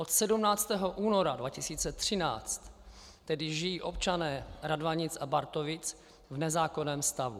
Od 17. února 2013 tedy žijí občané Radvanic a Bartovic v nezákonném stavu.